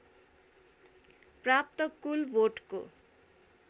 प्राप्त कुल भोटको